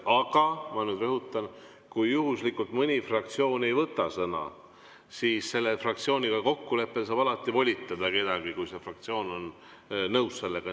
Aga, ma nüüd rõhutan, kui juhuslikult mõni fraktsioon ei võta sõna, siis selle fraktsiooniga kokkuleppel saab alati volitada kedagi, kui see fraktsioon on nõus sellega.